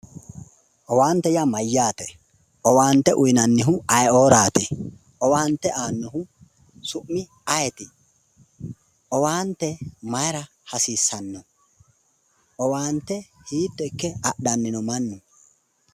Owaante yaa mayyaate? owaante uuyinannihu ayeeooraati? owaante aannohu su'mi ayeeti? owaante maayiira hasiissanno? owaante hiitto ikka adhanno?